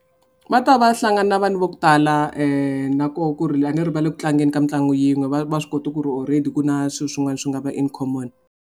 Va ta va hlangana na vanhu va ku tala nakoho ku ri a ni ri va le ku tlangeni ka mitlangu yin'we va va swi kota ku ri already ku na swilo swin'wana swi nga va in common.